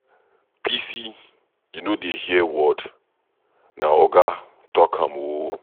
Bisi you no dey hear word, na Oga talk am ooo.